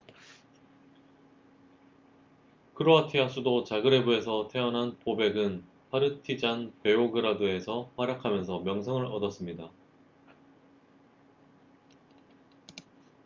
크로아티아 수도 자그레브에서 태어난 보벡은 파르티잔 베오그라드에서 활약하면서 명성을 얻었습니다